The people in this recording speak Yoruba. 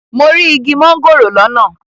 Mo rí igi mángòrò lọ́nà.